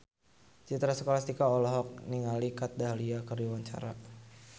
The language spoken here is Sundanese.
Citra Scholastika olohok ningali Kat Dahlia keur diwawancara